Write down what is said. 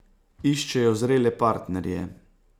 Iščejo zrele partnerje.